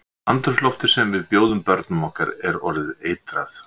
Andrúmsloftið sem við bjóðum börnum okkar er orðið eitrað.